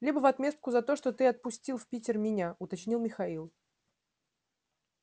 либо в отместку за то что ты отпустил в питер меня уточнил михаил